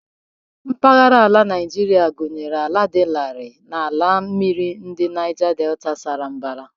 Mpaghara ala Naijiria gụnyere ugwu, ala dị larịị, na ala mmiri ndi Naija Detà sara mbara.